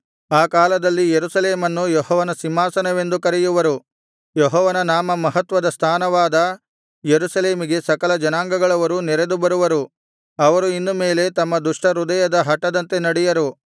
ಆ ಕಾಲದಲ್ಲಿ ಯೆರೂಸಲೇಮನ್ನು ಯೆಹೋವನ ಸಿಂಹಾಸನವೆಂದು ಕರೆಯುವರು ಯೆಹೋವನ ನಾಮಮಹತ್ವದ ಸ್ಥಾನವಾದ ಯೆರೂಸಲೇಮಿಗೆ ಸಕಲ ಜನಾಂಗಗಳವರು ನೆರೆದು ಬರುವರು ಅವರು ಇನ್ನು ಮೇಲೆ ತಮ್ಮ ದುಷ್ಟ ಹೃದಯದ ಹಟದಂತೆ ನಡೆಯರು